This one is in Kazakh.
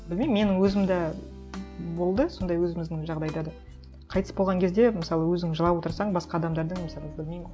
білмеймін менің өзім де болды сондай өзіміздің жағдайда да қайтыс болған кезде мысалы өзің жылап отырсаң басқа адамдардың мысалы білмеймін